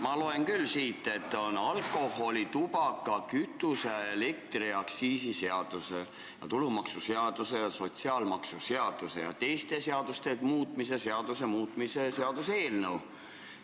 Ma loen pealkirjast, et see on alkoholi-, tubaka-, kütuse- ja elektriaktsiisi seaduse ning tulumaksuseaduse ja sotsiaalmaksuseaduse ja teiste seaduste muutmise seaduse muutmise seaduse eelnõu.